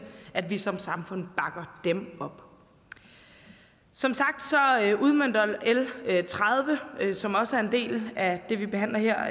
at vi som samfund bakker dem op som sagt udmønter l tredive som også er en del af det vi behandler her